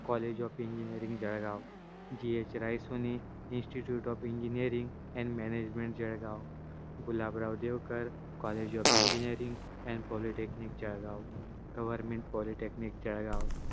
college of engineer Jalgaon g h raisoni institute of engineering and management Jalgaon Gulabrao Devekar college of engineering and polytechnic Jalgaon government polytechnic Jalgaon